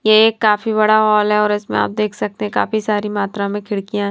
यह एक काफी बड़ा हॉल है और इसमें आप देख सकते हैं काफी सारी मात्रा में खिड़कियाँ--